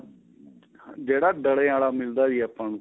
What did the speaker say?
ਜਿਹੜਾ ਡਲਿਆਂ ਆਲਾ ਮਿਲਦਾ ਜੀ ਆਪਾਂ ਨੂੰ